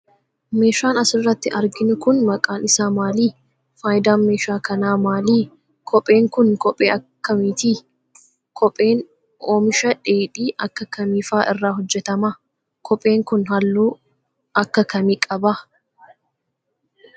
Meeshaan as irratti arginu kun ,maqaan isaa maali? Faayidaan meeshaa kanaa maali? Kpheen kun ,kophee akka kamiiti? Kopheen ,oomisha dheedhii akka kamii faa irraa hojjatama? Kopheen kun, haalluu akka kamii qaba?